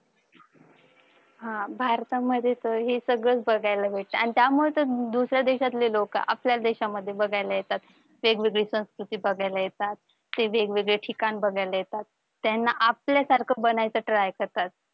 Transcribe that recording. हा भारतामध्ये तर हे सगळं बघायला भेटत आणि त्या त्यामुळे तर दुसऱ्या देशातले लोक आपल्या देशामध्ये बघायला येतात वेगवेगळी संस्कृती बघायला येतात वेगवेगळी ठिकाणं बघायला येतात त्यांना आपल्यासारखं बनायचं try करतात.